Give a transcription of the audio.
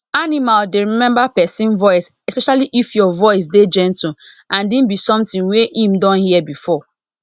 animal dey remember pesin voice especially if your voice dey gentle and e be somtin wey em don hear before